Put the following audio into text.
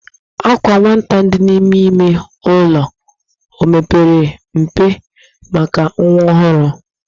Àkwà nwata dị n'ime ime ụlọ o pere mpe maka nwa ọhụrụ?